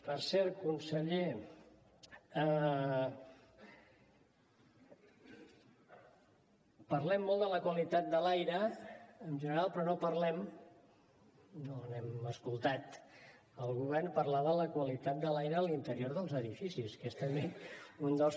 per cert conseller parlem molt de la qualitat de l’aire en general però no hem escoltat el govern parlar de la qualitat de l’aire a l’interior dels edificis